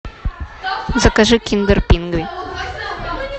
закажи киндер пингви